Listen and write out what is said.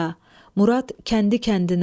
Murad kəndi kəndinə.